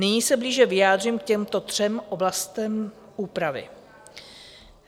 Nyní se blíže vyjádřím k těmto třem oblastem úpravy.